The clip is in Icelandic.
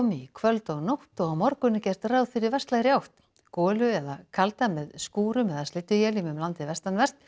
í kvöld og nótt og á morgun er gert ráð fyrir vestlægri átt golu eða kalda með skúrum eða slydduéljum um landið vestanvert